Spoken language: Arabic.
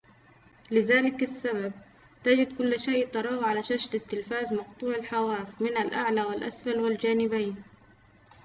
لذلك السبب تجد كل شيء تراه على شاشة التلفاز مقطوع الحواف من الأعلى والأسفل و الجانبين